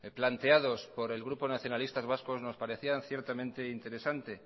planteados por el grupo nacionalistas vascos nos parecían ciertamente interesantes